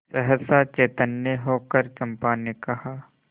सहसा चैतन्य होकर चंपा ने कहा